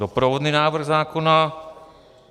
Doprovodný návrh zákona.